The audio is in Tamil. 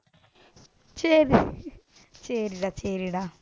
சரி சரிடா, சரிடா